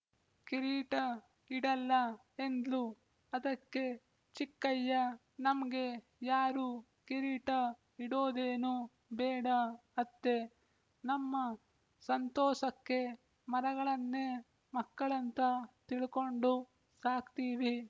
ಕಿರೀಟ ಇಡಲ್ಲ ಎಂದ್ಲು ಅದಕ್ಕೆ ಚಿಕ್ಕಯ್ಯ ನಮ್ಗೆ ಯಾರು ಕಿರೀಟ ಇಡೋದೇನು ಬೇಡ ಅತ್ತೆ ನಮ್ಮ ಸಂತೋಸಕ್ಕೆ ಮರಗಳನ್ನೇ ಮಕ್ಕಳಂತ ತಿಳ್ಕೊಂಡು ಸಾಕ್ತೀವಿ